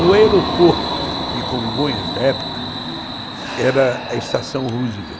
O aeroporto de Congonhas, da época, era a Estação Roosevelt.